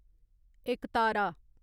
एकतारा